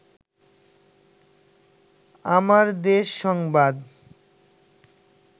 আমার দেশ সংবাদ